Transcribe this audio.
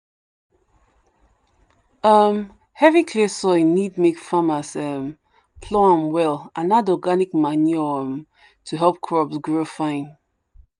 um heavy clay soil need make farmers um plough am well and add organic manure um to help crops grow fine.